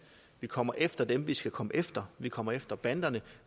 vi kommer efter dem vi skal komme efter vi kommer efter banderne